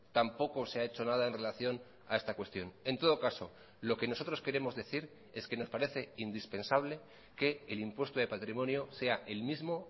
tampoco se ha hecho nada en relación a esta cuestión en todo caso lo que nosotros queremos decir es que nos parece indispensable que el impuesto de patrimonio sea el mismo